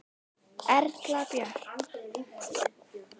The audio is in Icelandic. Erla Björk.